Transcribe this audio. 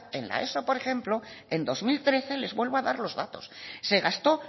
en la eso por ejemplo en dos mil trece les vuelvo a dar los datos se gastó